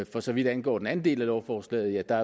for så vidt angår den anden del af lovforslaget er der